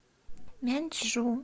мяньчжу